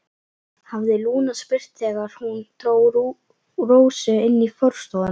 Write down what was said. hafði Lúna spurt þegar hún dró Rósu inn í forstofuna.